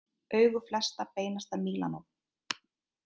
Augu flestra beinast að Mílanó